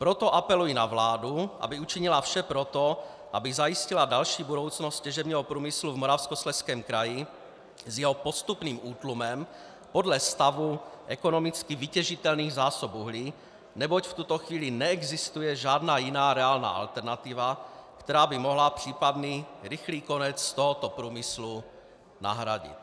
Proto apeluji na vládu, aby učinila vše pro to, aby zajistila další budoucnost těžebního průmyslu v Moravskoslezském kraji s jeho postupným útlumem podle stavu ekonomicky vytěžitelných zásob uhlí, neboť v tuto chvíli neexistuje žádná jiná reálná alternativa, která by mohla případný rychlý konec tohoto průmyslu nahradit.